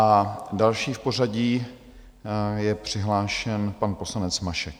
A další v pořadí je přihlášen pan poslanec Mašek.